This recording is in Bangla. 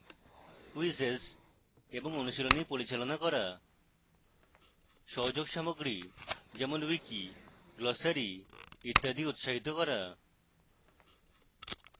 quizzes এবং অনুশীলনী পরিচালনা করা